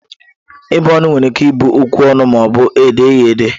Ịbụ ọnụ were ike ịbụ okwu ọnụ ma ọbụ e dee ya ede.